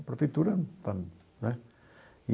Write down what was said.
A prefeitura está, né?